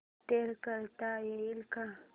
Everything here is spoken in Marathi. इंस्टॉल करता येईल का